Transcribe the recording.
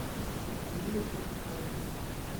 камилой станиславовной